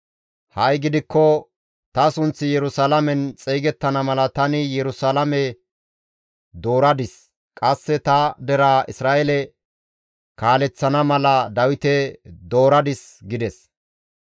Ha7i gidikko ta sunththi Yerusalaamen xeygettana mala tani Yerusalaame dooradis; qasse ta deraa Isra7eele kaaleththana mala Dawite dooradis› gides.